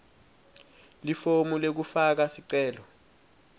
lifomu lekufaka sicelo